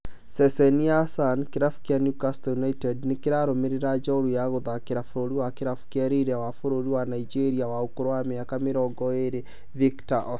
Ceceni ya Sun, kĩrabu kĩa Newcastle United nĩrarũmĩrĩra njorua ya gũtharĩkĩra mũbira wa kĩrabu kĩa Lille wa bũrũri wa Nigeria wa ũkũrũ wa mĩaka mĩrongo ĩrĩ Victor Osimhen